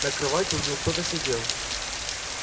на кровати у него кто-то сидел